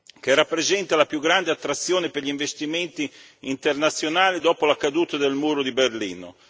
che rappresenta la più grande attrazione per gli investimenti internazionali dopo la caduta del muro di Berlino.